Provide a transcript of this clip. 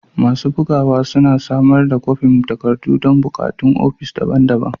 Masu bugawa suna samar da kwafin takardu don buƙatun ofis daban-daban.